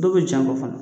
Dɔw bɛ jan bɔ fana